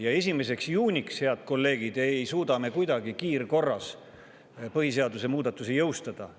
Ja 1. juuniks, head kolleegid, ei suuda me kuidagi kiirkorras põhiseaduse muudatusi jõustada.